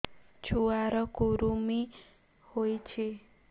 ଛୁଆ ର କୁରୁମି ହୋଇଛି